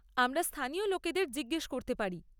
আমরা স্থানীয় লোকেদের জিজ্ঞেস করতে পারি।